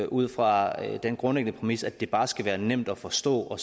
ud fra den grundlæggende præmis at det bare skal være nemt at forstå